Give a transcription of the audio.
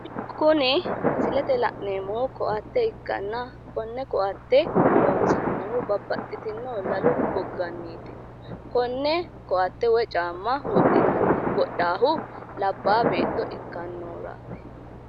kuni misilete la'neemmohu koatte ikkanna konne koatte loonsannihu babaxitino lalu goganniiti konne koatte wodhannohu labbaa beetto ikkannohuraati.